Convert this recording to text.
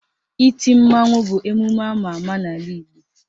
Iti mmanwụ bụ emume ama ama n'ala Igbo